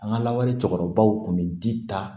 An ka lawale cɛkɔrɔbaw tun bɛ di ta